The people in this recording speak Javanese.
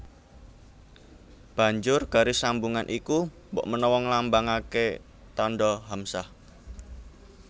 Banjur garis sambungan iku mbokmenawa nglambangaké tandha hamzah